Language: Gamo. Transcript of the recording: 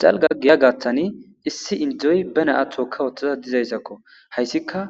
Xalga giya gattani issi indizoy bena'a tookka woththaza dizayssakko hayssika